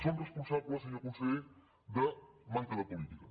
són responsables senyor conseller de manca de política